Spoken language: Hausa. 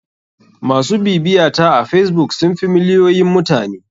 MAsu bibiyata a facebook sun fi miliyoyin mutane.